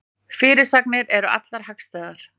Fyrirsagnir eru allar hagstæðar